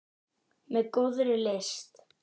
Með góðri lyst.